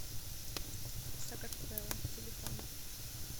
сакартвело телефон